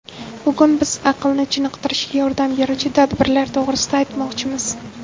Bugun biz aqlni chiniqtirishga yordam beruvchi tadbirlar to‘g‘risida aytmoqchimiz.